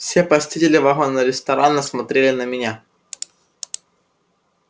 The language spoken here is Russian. все посетители вагона-ресторана смотрели на меня